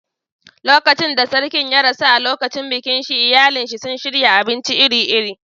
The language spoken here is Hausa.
Lokacin da Sarkin ya rasu, a lokacin bikin shi iyalinsa suka shirya abinci iri-iri.